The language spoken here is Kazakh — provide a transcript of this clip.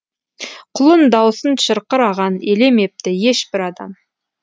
құлын даусын шырқыраған елемепті ешбір адам